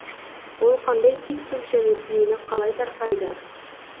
ол қандай түйткіл және түйіні қалай тарқайды